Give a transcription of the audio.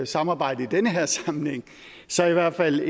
samarbejde i den her sammenhæng så i hvert fald